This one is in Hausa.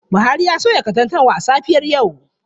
Buhari ya soya katantanwa a safiyar yau.